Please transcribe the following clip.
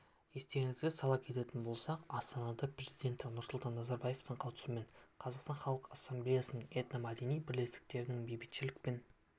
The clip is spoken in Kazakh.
естеріңізге сала кететін болсақ астанада президенті нұрсұлтан назарбаевтың қатысуымен қазақстан халқы ассамблеясының этномәдени бірлестіктерінің бейбітшілік пен